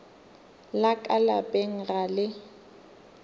la ka lapeng ga le